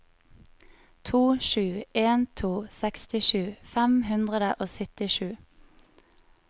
to sju en to sekstisju fem hundre og syttisju